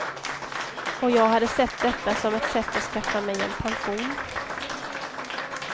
Och jag hade sett detta som ett sätt att skaffa mig en pension.